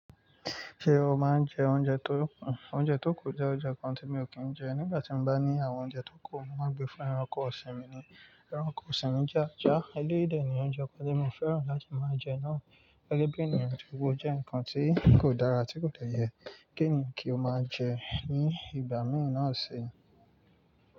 Ṣé o máa ń jẹ oúnjẹ tó kù? O je oúnjẹ kan tí mi ò kí ń jẹ. Nígbà tí mo bá ní àwọn oúnjẹ tó kù, mo máa ngbé fún ẹranko ọ̀sìn mi ni. Ẹranko ọ̀sìn mi je ajà. Elédè ni oúnjẹ kan tí mo fẹ́ràn láti máa jẹ náà. Gẹ́gẹ́ bí ènìyàn ti gbogbo jẹ́ nǹkan tí kò dára, tí kò tẹ́ yẹ. Kí ni kí o máa jẹ ní ìgbà mìíràn ọ̀sín?